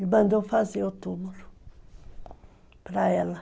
E mandou fazer o túmulo para ela.